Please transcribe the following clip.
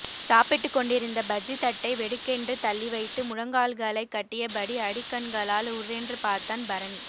சாப்பிட்டுக்கொண்டிருந்த பஜ்ஜி தட்டை வெடுக்கென்று தள்ளிவைத்து முழங்கால்களைக் கட்டியபடி அடிக்கண்களால் உர்ரென்று பார்த்தான் பரணி